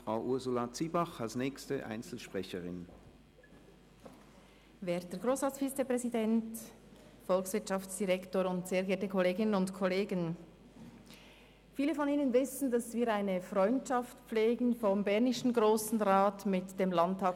Viele von Ihnen wissen, dass wir vonseiten des bernischen Grossen Rats eine Freundschaft mit dem Sächsischen Landtag pflegen.